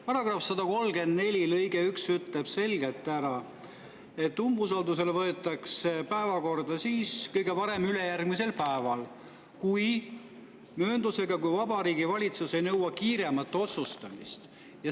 Paragrahvi 134 lõige 1 ütleb selgelt, et umbusaldus võetakse päevakorda kõige varem ülejärgmisel päeval – kuid mööndusega –, kui Vabariigi Valitsus ei nõua kiiremat otsustamist.